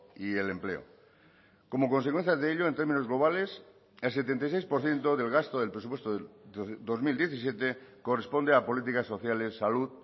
y el empleo como consecuencia de ello en términos globales el setenta y seis por ciento del gasto del presupuesto del dos mil diecisiete corresponde a políticas sociales salud